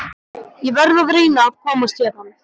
Ég verð að reyna að komast héðan.